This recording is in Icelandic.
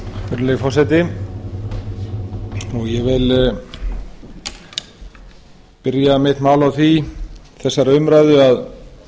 virðulegi forseti ég vil byrja mitt mál á því í þessara umræðu að